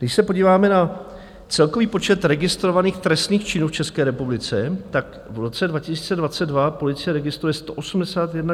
Když se podíváme na celkový počet registrovaných trestných činů v České republice, tak v roce 2022 policie registruje 181 991 trestných činů.